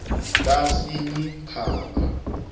kasinyikhaba